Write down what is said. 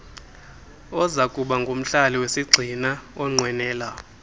ozakubangumhlali wesigxina onqwenela